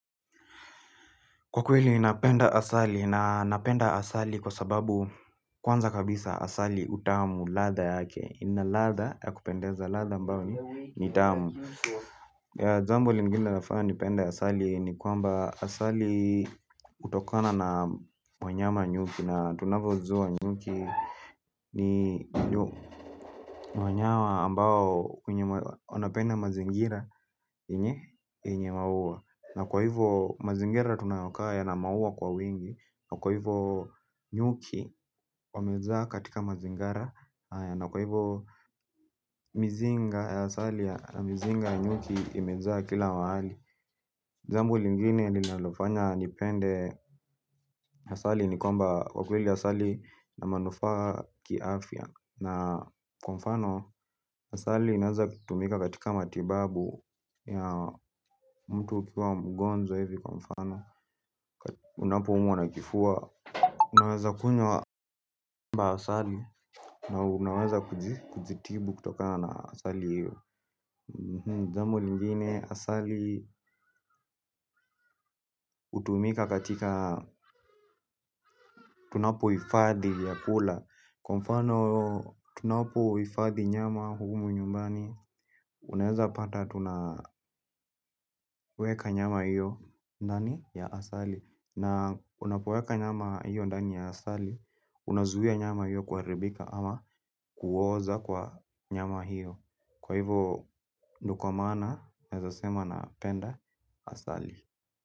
Kwa kweli ninapenda asali na napenda asali kwa sababu kwanza kabisa asali utamu ladha yake ina ladha ya kupendeza ladha ambayo ni tamu jambo lingine nafanya nipende asali ni kwamba asali hutokana na mwanyama nyuki, na tunavojua nyuki ni ni mwanyama ambao wanapenda mazingira yenye maua. Na kwa hivyo mazingira tunayokaa ya na maua kwa wengi, na kwa hivyo nyuki wamezaa katika mazingira na kwa hivyo mizinga ya nyuki imejaa kila mahali jambo lingini nilalofanya nipende asali ni kwamba kwa kweli asali ina manufaa kiafya na kwa mfano, asali inaweza kutumika katika matibabu ya mtu ukiwa mgonjwa ivi kwa mfano unapoumwa na kifua unaweza kunywa lamba asali na unaweza kujitibu kutoka na asali hiyo. Jambu lingine, asali hutumika katika, tunapohifadhi vyakula kwa mfano tunapohifadhi nyama humu nyumbani unaweza pata tunaweka nyama hiyo ndani ya asali na unapoweka nyama hiyo ndani ya asali unazuia nyama hiyo kuharibika ama kuoza kwa nyama hiyo kwa hivo ni kwa maana, naweza sema napenda asali.